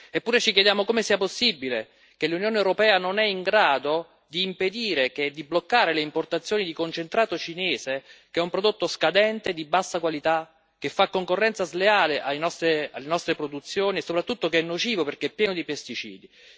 Eppure ci chiediamo come sia possibile che l'Unione europea non sia in grado di impedire, di bloccare le importazioni di concentrato cinese, che è un prodotto scadente e di bassa qualità, che fa concorrenza sleale alle nostre produzioni e, soprattutto, che è nocivo perché pieno di pesticidi.